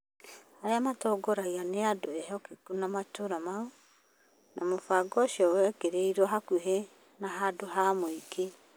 Arĩa maatongoragia nĩ andũ ehokeku a matũra mau, na mũbango ũcio wekĩrirũo hakuhĩ na handũ ha mũingĩ .